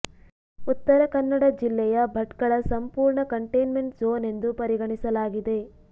ಉತ್ತರ ಕನ್ನಡ ಜಿಲ್ಲೆಯ ಭಟ್ಕಳ ಸಂಪೂರ್ಣ ಕಂಟೇನ್ಮೆಂಟ್ ಝೋನ್ ಎಂದು ಪರಿಗಣಿಸಲಾಗಿದೆ